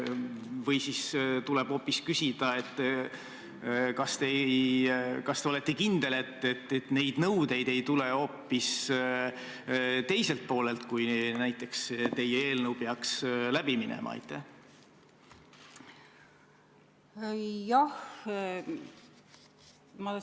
Või siis tuleb hoopis küsida nii: kas te olete kindel, et neid nõudeid ei tule hoopis teiselt poolelt, kui teie eelnõu peaks läbi minema?